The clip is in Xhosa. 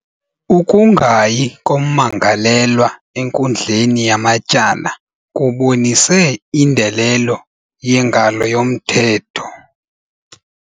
Ukungayi kommangalelwa enkundleni yamatyala kubonise indelo yengalo yomthetho.